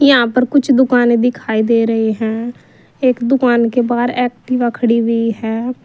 यहां पर कुछ दुकानें है दिखाई दे रहे हैं एक दुकान के बाहर एक्टिवा खड़ी हुई है।